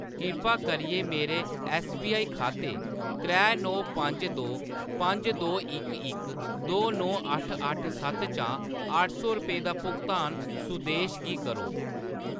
किरपा करियै मेरे ऐस्सबीआई खाते त्रै नौ पंज दो पंज दो इक इक दो नौ अट्ठ अट्ठ सत्त चा अट्ठ सौ रपेऽ दा भुगतान सुदेश गी करो।